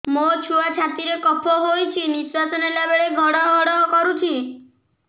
ମୋ ଛୁଆ ଛାତି ରେ କଫ ହୋଇଛି ନିଶ୍ୱାସ ନେଲା ବେଳେ ଘଡ ଘଡ କରୁଛି